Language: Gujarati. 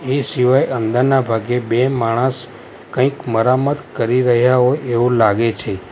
એ સિવાય અંદરના ભાગે બે માણસ કંઈક મરમ મત કરી રહ્યા હોય એવું લાગે છે.